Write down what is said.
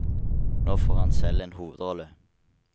Nå får han selv en hovedrolle.